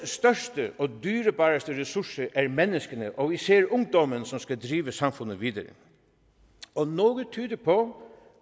største og dyrebareste ressource er menneskene og især ungdommen som skal drive samfundet videre og noget tyder på